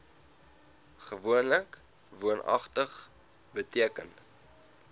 gewoonlik woonagtig beteken